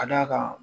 Ka d'a kan